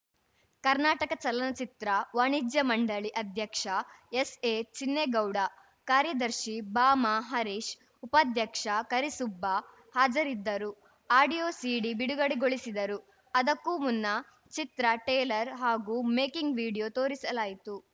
ಕರ್ನಾಟಕ ಚಲನಚಿತ್ರ ವಾಣಿಜ್ಯ ಮಂಡಳಿ ಅಧ್ಯಕ್ಷ ಎಸ್‌ಎಚಿನ್ನೆಗೌಡ ಕಾರ್ಯದರ್ಶಿ ಬಾಮಾಹರೀಶ್‌ ಉಪಾಧ್ಯಕ್ಷ ಕರಿಸುಬ್ಬ ಹಾಜರಿದ್ದು ಆಡಿಯೋ ಸೀಡಿ ಬಿಡುಗಡೆ ಗೊಳಿಸಿದರು ಅದಕ್ಕೂ ಮುನ್ನ ಚಿತ್ರ ಟ್ರೇಲರ್‌ ಹಾಗೂ ಮೇಕಿಂಗ್‌ ವಿಡಿಯೋ ತೋರಿಸಲಾಯಿತು